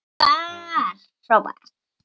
var hrópað.